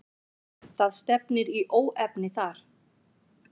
Það stefnir í óefni þar.